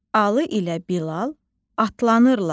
Alı ilə Bilal atlanırlar.